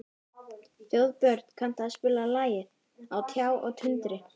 Þjóðbjörn, kanntu að spila lagið „Á tjá og tundri“?